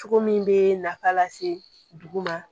Cogo min bɛ nafa lase dugu ma